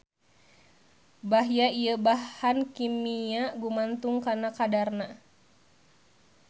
Bahya ieu bahan kimia gumantung kana kadarna.